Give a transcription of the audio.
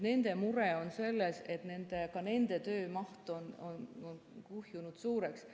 Nende mure on selles, et ka nende töömaht on kuhjunud suureks.